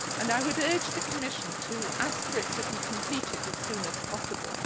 I would urge the Commission to ask for it to be completed as soon as possible.